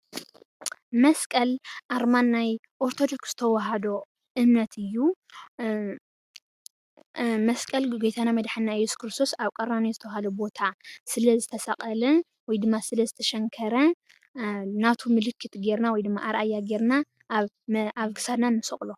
መሰቀል ኣርማ ናይ ኦርተዶክስ ተዋህዶ እምነት እዩ፡፡ መስቀል ጎታና መዳሓኒና እዮሱስ ክርስቶስ ኣብ ቀራኒዮ ዝተብሃለ ቦታ ስለ ዘተሰቀለ ወይ ድማ ሰለ ዝተሸኒከረ ናቱ ምልክት ጌርና ወይ ዲማ ኣርኣያ ጌርና ኣብ ክሳዲና ንሰቅሎ፡፡